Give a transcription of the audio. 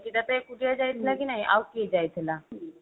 ନିକିତା ତ ଏକୁଟିଆ ଯାଇଥିଲା କି ନାହି ଆଉ କିଏ ଯାଇଥିଲା